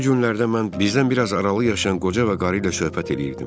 Bu günlərdə mən bizdən biraz aralı yaşayan qoca və qarı ilə söhbət eləyirdim.